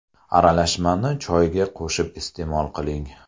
Aralashmani choyga qo‘shib iste’mol qiling.